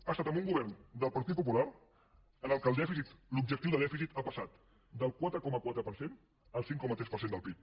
ha estat amb un govern del partit popular en què l’objectiu de dèficit ha passat del quatre coma quatre per cent al cinc coma tres per cent del pib